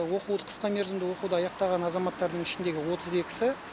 оқуды қысқа мерзімді оқуды аяқтаған азаматтардың ішіндегі отыз екісі